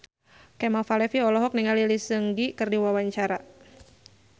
Kemal Palevi olohok ningali Lee Seung Gi keur diwawancara